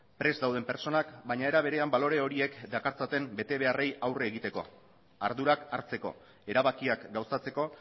prest dauden pertsonak baina era berean balore horien dakartzaten betebeharrei aurre egiteko ardurak hartzeko erabakiak gauzatzeko